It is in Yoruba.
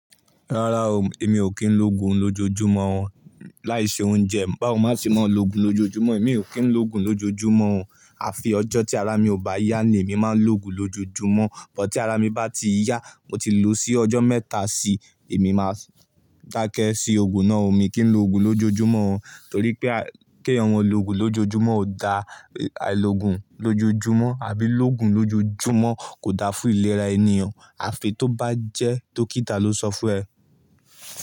Rárá o, èmi ò kí ń lo oògùn lójojúmọ́ ọ́ láì ṣe oúnjẹ, báwo má ṣe máa se lo oògùn lójojúmọ́, èmi ò kí ń lo oògùn lójojúmọ́ ọ́ àfi ọjọ́ tí ara mi ò bá yá ni èmi máa ń lo oògùn lójojúmọ́ ọ́n, bọ́ tí ara mi bá ti yá, mo ti lò ó sí ọjọ́ mẹ́ta sí i, èmi máa dákẹ́ sí oògùn náà, emi kí ń lo oògùn lójojúmọ́ ọ́n, torí pé kí ẹ̀yan ma lo oògùn lójojúmọ́ ọ́n ó da, àìlo oògùn lójojúmọ́ ọ́n àbí lóògùn lójojúmọ́ ọ́n kò da fún ìlera ènìyàn, àfi tó bá jẹ́ dókítà ló sọ fún ẹ.